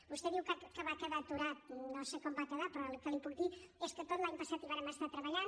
vostè diu que va quedar aturat no sé com va quedar però el que li puc dir és que tot l’any passat hi vàrem estar treballant